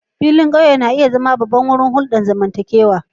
Filin ƙauye na iya zama babban wurin hulɗar zamantakewa